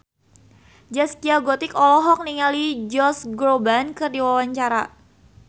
Zaskia Gotik olohok ningali Josh Groban keur diwawancara